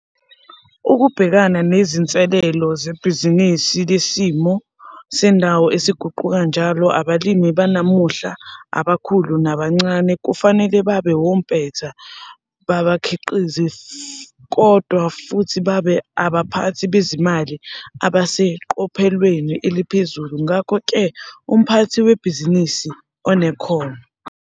Ukubhekana nezinselelo zebhizinisi lesimo sendawo esiguquka njalo abalimi banamuhla, abakhulu nabancane, kufanele babe wompetha babakhiqizi kodwa futhi babe abaphathi bezimali abaseqophelweni eliphezulu - ngakho ke umphathi webhizinisi onekhono.